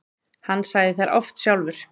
Hann sagði þær oft sjálfur.